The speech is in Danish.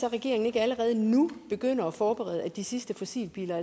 at regeringen ikke allerede nu begynder at forberede at de sidste fossilbiler